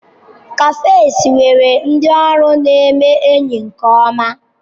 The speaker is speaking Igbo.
Cafes nwere ndị ọrụ neme enyi nke-oma.